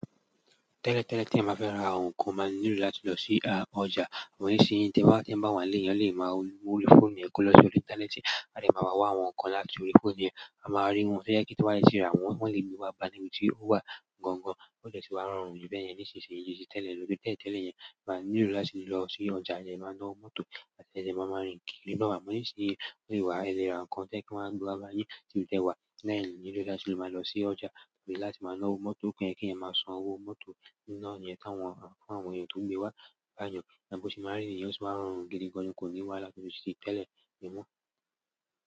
Tẹ́lẹ̀ tẹ́lẹ̀ tí eeyan báa fẹ́ ra àwọn nǹkan, o máa nílò láti lọ sí ọjà, ṣùgbọ́n nisinyi. Ti eeyan bá wá ń le eeyán lè máa wo orí fóònù ẹ́ ko lọ sí orí ìntanẹ́ẹ̀tì, a dè máa ná wá àwọn nǹkan láti orí fóònù yẹn, a máa rí wọn tojẹ pe tó bá ti rà wọ́n, wọn lè gbé wá bá níbi tí ó wà gangan. Ó de sì wá rọrùn ju bẹ́ẹ̀yẹn nísinsìnyí ju ti tẹ́lẹ̀ lọ. Tẹ́lẹ̀ tẹ́lẹ̀ yẹn, á nílò láti lọ sí ọ̀jà, a dẹ máa náwo mọ́tò e dẹ máa máa rìn kíríná wà. Ṣùgbọ́n nisinyi bi o se wá, ẹ lè ra nǹkan tojẹ́ pe wọ́n a gbé wá bá yín níbi ti ẹ́ wà láì nílò láti máa lọ sí ọ̀jà pe láti máa ná owó mọ́tò kí eeyan máa san owó mọ́tò niná yẹn fún awọ́n eeyan tó n gbé wá báyẹn. Bi o se máa rì nìyẹn o sì máa rọrùn gidigan ni kò ní wàhálà bi tí tẹ́lẹ̀ yẹn mọ́.